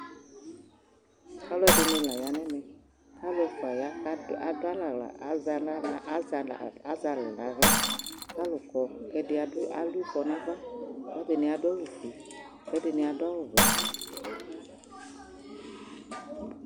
Alʋɛdɩnɩ la ya nʋ ɛmɛ Alʋ ɛfʋa ya kʋ ad adʋ alɛ aɣla, azɛ na aɣla, azɛ aɣla, azɛ alɛ nʋ aɣla kʋ alʋ kɔ kʋ ɛdɩ adʋ adʋ ɩfɔ nʋ ava kʋ ɛdɩnɩ adʋ awʋfue, kʋ ɛdɩnɩ adʋ awʋwɛ